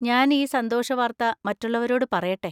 ഞാൻ ഈ സന്തോഷവാർത്ത മറ്റുള്ളവരോട് പറയട്ടെ!